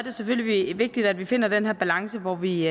er selvfølgelig vigtigt at vi finder den her balance hvor vi